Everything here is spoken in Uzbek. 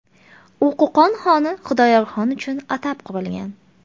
U Qo‘qon xoni Xudoyorxon uchun atab qurilgan.